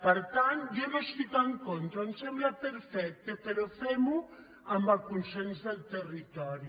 per tant jo no hi estic en contra em sembla perfecte però fem·ho amb el consens del territori